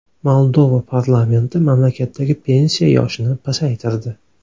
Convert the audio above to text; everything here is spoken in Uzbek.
Moldova parlamenti mamlakatdagi pensiya yoshini pasaytirdi.